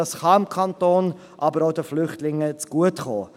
Das kann dem Kanton, aber auch den Flüchtlingen zugutekommen.